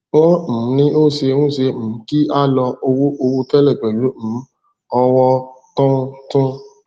wọn um ní o se n se um ki a lọ owó owó tẹlẹ pelu um ọwọ tún tun